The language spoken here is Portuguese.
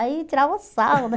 Aí tirava, né?